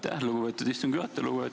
Aitäh, lugupeetud istungi juhataja!